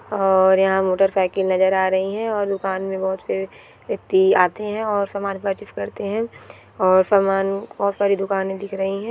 और यहाँ motorcycle नज़र आ रही है और दूकान में बहुत से व्यक्ति आते है और सामान पर्चेस करते है और सामान बहुत सारे दुकाने दिख रही है।